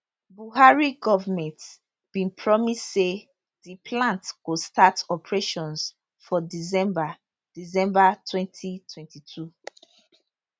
buhari goment bin promise say di plant go start operations for december december 2022